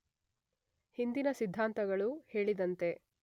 ಹಿಂದಿನ ಸಿದ್ಧಾಂತಗಳು ಹೇಳಿದಂತೆ